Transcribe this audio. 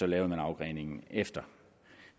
lavede afgreningen derefter